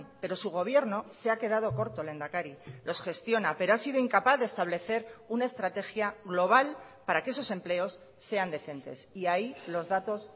pero su gobierno se ha quedado corto lehendakari los gestiona pero ha sido incapaz de establecer una estrategia global para que esos empleos sean decentes y ahí los datos